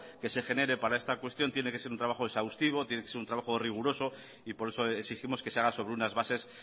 que se genere para esta cuestión tiene que ser un trabajo exhaustivo tiene que ser un trabajo riguroso y por eso exigimos que se haga sobre unas bases